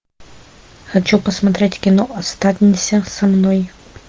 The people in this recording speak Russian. хочу посмотреть кино останься со мной